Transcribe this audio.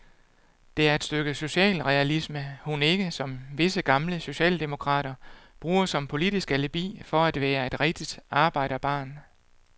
Det er et stykke social realisme hun ikke, som visse gamle socialdemokrater, bruger som politisk alibi for at være et rigtigt arbejderbarn.